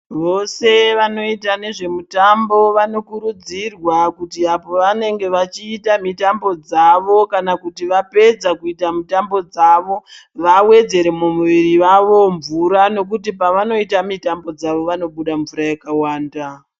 Vose vanoita nezvehutano vanokurudzirwa apo pavanenge vachiita mitambo dzawo kana kuti vapedza kuita mitambo dzawo vawedzere muviri mavo mvura nekuti pavanoita mitambo yawo vanobuda mvura yakawanda.